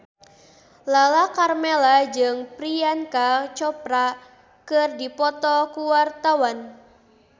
Lala Karmela jeung Priyanka Chopra keur dipoto ku wartawan